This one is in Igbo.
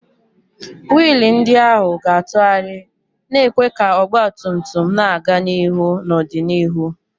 wiil ndị ahụ ga-atụgharị, na-ekwe ka ọgba tum tum na-aga n'ihu n'ọdịnihu.